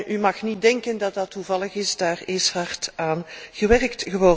U moet niet denken dat dat toevallig is, daar is hard aan gewerkt.